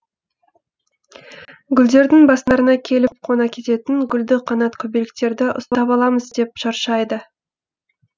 гүлдердің бастарына келіп қона кететін гүлді қанат көбелектерді ұстап аламыз деп шаршайды